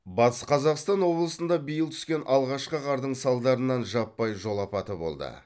батыс қазақстан облысында биыл түскен алғашқы қардың салдарынан жаппай жол апаты болды